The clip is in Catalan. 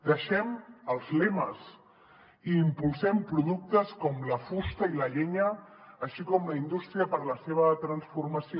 deixem els lemes i impulsem productes com la fusta i la llenya així com la indústria per a la seva transformació